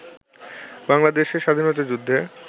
বাংলাদেশের স্বাধীনতাযুদ্ধে